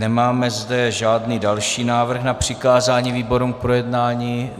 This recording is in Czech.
Nemáme zde žádný další návrh na přikázání výborům k projednání.